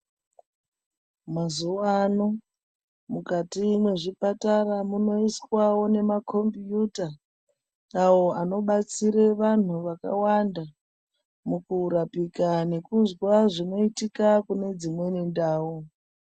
Mazuwano mukati mwezvipatara munoiswawo nemakombiyuta awo anobatsire vantu vakawanda mukurapika nekuzwa zvinoitika kune dzimweni ndau.